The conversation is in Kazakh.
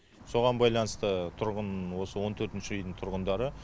соған байланысты тұрғын осы он төртінші үйдің тұрғындары